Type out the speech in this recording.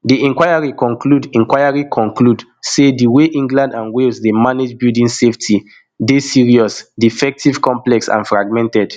di inquiry conclude inquiry conclude say di way england and wales dey manage building safety deyserious defective complex and fragmented